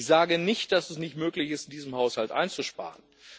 Ich sage nicht, dass es nicht möglich ist, in diesem Haushalt einzusparen.